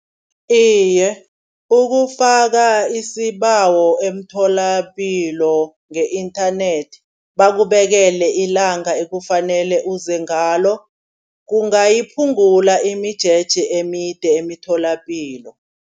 Iye ukufaka isibawo emtholapilo nge-inthanethi bakubekele ilanga ekufanele uze ngalo. Kungayiphungula imijeje emide emitholapilo.